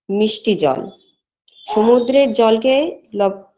মিষ্টি জল সমুদ্রের জলকে লব